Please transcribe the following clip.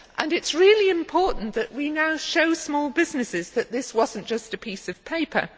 It is really important that we now show small businesses that this was not just a piece of paper.